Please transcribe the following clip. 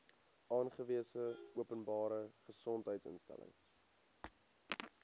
aangewese openbare gesondheidsinstelling